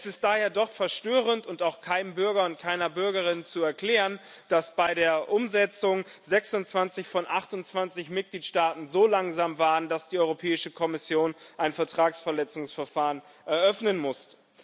Es ist daher doch verstörend und auch keinem Bürger und keiner Bürgerin zu erklären, dass bei der Umsetzung 26 von 28 Mitgliedstaaten so langsam waren, dass die Europäische Kommission ein Vertragsverletzungsverfahren eröffnen musste.